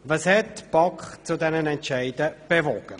Was hat die BaK zu diesen Entscheidungen bewogen?